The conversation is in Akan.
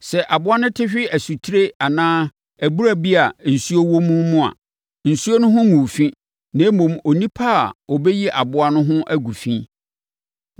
Sɛ aboa no te hwe asutire anaa abura bi a nsuo wɔ mu mu a, nsuo no ho nguu fi, na mmom, onipa a ɔbɛyi aboa no ho agu fi.